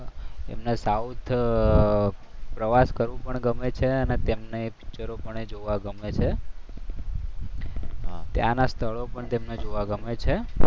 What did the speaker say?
એમની સાઉથ પ્રવાસ કરવું પણ ગમે છે અને તેમને એ પિક્ચર પન જોવા ગણે ગમે છે તેના સ્થળો પણ તેમને જોવા ગમે છે.